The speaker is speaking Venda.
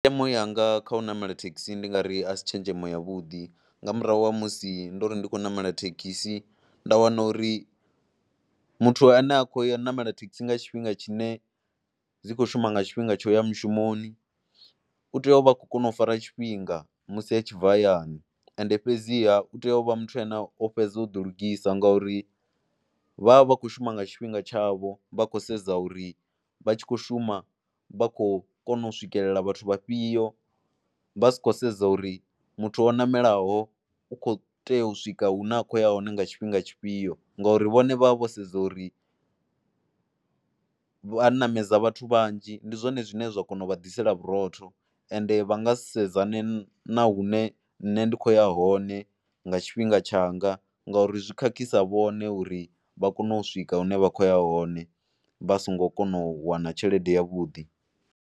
Tshenzhemo yanga kha u namela thekhisi ndi nga ri a si tshenzhemo yavhuḓi nga murahu ha musi ndo ri ndi khou ṋamela thekhisi nda wana uri muthu ane a khou ṋamela thekhisi nga tshifhinga tshine dzi khou shuma nga tshifhinga tsho ya mushumoni u tea u vha khou kona u fara tshifhinga musi a tshi bva hayani. Ende fhedziha u tea u vha muthu ane o fhedza u ḓilugisa ngauri vha vha kho shuma nga tshifhinga tshavho vha khou sedza uri vha tshi khou shuma vha khou kona u swikelela vhathu vhafhio vha si khou sedza uri muthu o ṋamelaho u khou tea u swika hune a khou ya hone nga tshifhinga tshifhio ngori vhone vha vha vho sedza uri vha ṋamedza vhathu vhanzhi ndi zwone zwine zwa kona u vha ḓisela vhurotho. Ende vha nga sedzane na hune nṋe nda khou ya hone nga tshifhinga tshanga ngauri zwi khakhisa vhone uri vha kone u swika hune vha khou ya hone vha songo kona u wana tshelede yavhuḓi.